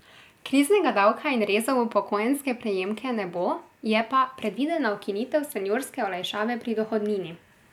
Kriznega davka in rezov v upokojenske prejemke ne bo, je pa predvidena ukinitev seniorske olajšave pri dohodnini.